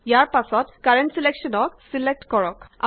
ইয়াৰ পাছত কাৰেন্ট ছিলেকশ্যনক ছিলেক্ট কৰক